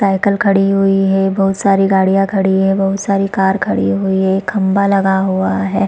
Cycle खड़ी हुई है बहुत सारी गाड़ियां खड़ी हुई है बहुत सारा कार खड़ी हुई है खंभा लगा हुआ है।